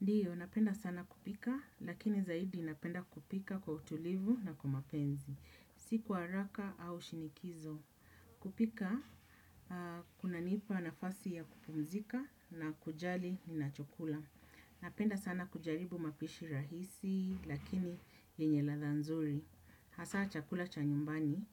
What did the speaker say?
Ndiyo, napenda sana kupika, lakini zaidi napenda kupika kwa utulivu na kwa mapenzi. Si kwa haraka au shinikizo. Kupika, kunanipa nafasi ya kupumzika na kujali ninachokula. Napenda sana kujaribu mapishi rahisi, lakini yenye ladha nzuri. Hasa chakula cha nyumbani,